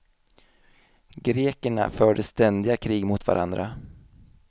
Grekerna förde ständiga krig mot varandra.